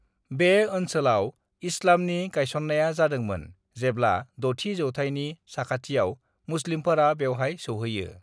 बे ओनसोलाव इस्लामनि गायसननाया जादोंमोन जेब्ला 6 थि जौथायनि साखाथियाव मुस्लिमफोरा बेवहाय सौहैयो।